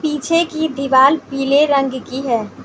पीछे की दीवार पीले रंग की है।